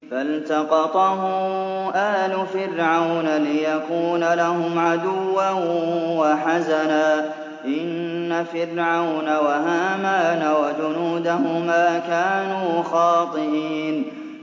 فَالْتَقَطَهُ آلُ فِرْعَوْنَ لِيَكُونَ لَهُمْ عَدُوًّا وَحَزَنًا ۗ إِنَّ فِرْعَوْنَ وَهَامَانَ وَجُنُودَهُمَا كَانُوا خَاطِئِينَ